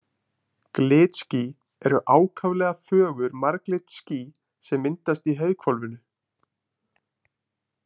Glitský eru ákaflega fögur marglit ský sem myndast í heiðhvolfinu.